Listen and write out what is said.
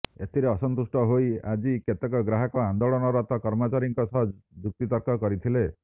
ଏଥିରେ ଅସନ୍ତୁଷ୍ଟ ହୋଇ ଆଜି କେତେକ ଗ୍ରାହକ ଆନ୍ଦୋଳନରତ କର୍ମଚାରୀଙ୍କ ସହ ଯୁକ୍ତିତର୍କ କରିଥିଲେ